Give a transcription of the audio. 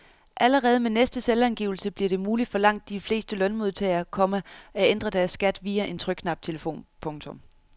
Allerede med næste selvangivelse bliver det muligt for langt de fleste lønmodtagere, komma at ændre deres skat via en trykknaptelefon. punktum